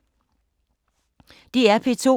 DR P2